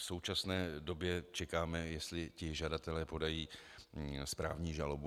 V současné době čekáme, jestli ti žadatelé podají správní žalobu.